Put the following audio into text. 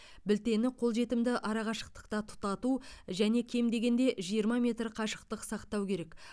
білтені қолжетімді арақашықтықта тұтату және кем дегенде жиырма метр қашықтық сақтау керек